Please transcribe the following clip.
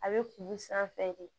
A bɛ kun sanfɛ de